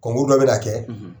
dɔ bɛ na kɛ.